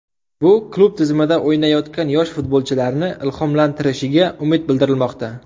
Bu klub tizimida o‘ynayotgan yosh futbolchilarni ilhomlantirishiga umid bildirilmoqda.